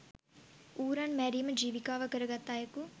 ඌරන් මැරීම ජීවිකාව කරගත් අයෙකු